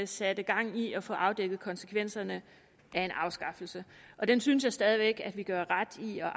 satte gang i at få afdækket konsekvenserne af en afskaffelse og den synes jeg stadig væk at vi gør ret i at